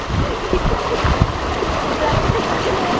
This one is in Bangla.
laster এর টা কি ছিল যেন?